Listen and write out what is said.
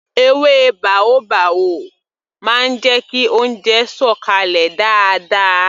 Èwe baobab máa ń jẹ kí oúnjẹ sọ̀ kalẹ̀ dáadáa